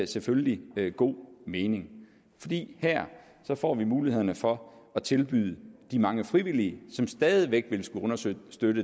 selvfølgelig god mening fordi her får vi muligheden for at tilbyde de mange frivillige som stadig væk vil skulle understøtte